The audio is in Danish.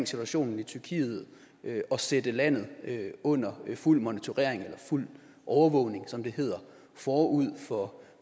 situationen i tyrkiet og sætte landet under fuld monitorering eller fuld overvågning som det hedder forud for